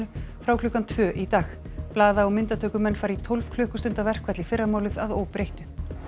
frá klukkan tvö í dag blaða og myndatökumenn fara í tólf klukkustunda verkfall í fyrramálið að óbreyttu